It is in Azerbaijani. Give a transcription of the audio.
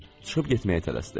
Çıxıb getməyə tələsdi.